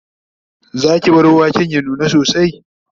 Zaki bar waken ya nuna sosai?